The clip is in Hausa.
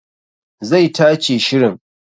Zai tace shirin